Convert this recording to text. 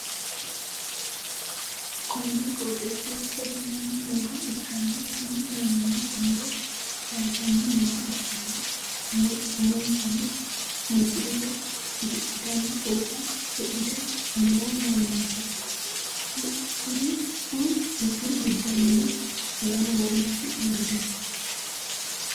konni qooxeessira sasu manni nooha ikkanna, kuni mannino muro kayiisanni nooha ikkanna, umonsanno musiliime usudhitanno fooxinni usudhite noo mannaati, kuriu giddoonnino lamu mannooti uurrite no.